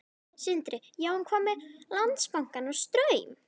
Sindri: Já, en hvað með Landsbankann og Straum?